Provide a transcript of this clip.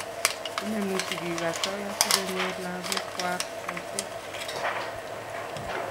inemu sigik asoya sikonyor lagok kwai boishet